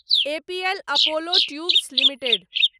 APL Apollo tubes limited